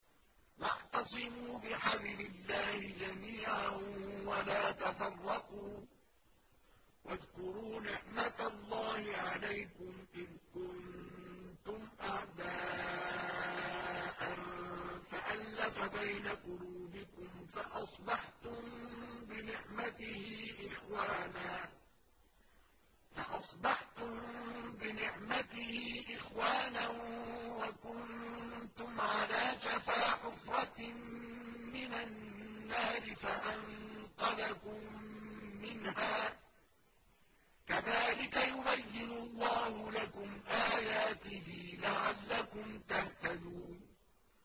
وَاعْتَصِمُوا بِحَبْلِ اللَّهِ جَمِيعًا وَلَا تَفَرَّقُوا ۚ وَاذْكُرُوا نِعْمَتَ اللَّهِ عَلَيْكُمْ إِذْ كُنتُمْ أَعْدَاءً فَأَلَّفَ بَيْنَ قُلُوبِكُمْ فَأَصْبَحْتُم بِنِعْمَتِهِ إِخْوَانًا وَكُنتُمْ عَلَىٰ شَفَا حُفْرَةٍ مِّنَ النَّارِ فَأَنقَذَكُم مِّنْهَا ۗ كَذَٰلِكَ يُبَيِّنُ اللَّهُ لَكُمْ آيَاتِهِ لَعَلَّكُمْ تَهْتَدُونَ